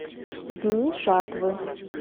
дни жатвы